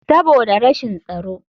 Saboda rashin tsaro.